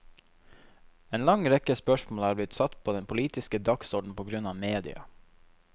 En lang rekke spørsmål er blitt satt på den politiske dagsorden på grunn av media.